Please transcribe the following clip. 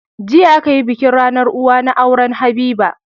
Jiya akayi bikin rAnar uwa na auren habiba